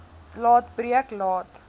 laat breek laat